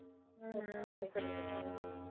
ਹਮ ਹਮ